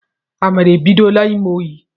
Amara ebidola ime oyi